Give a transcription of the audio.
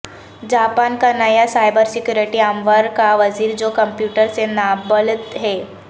Japan کا نیا cyber security امور کا وزیر جوکمپیوٹرسے نابلد ہے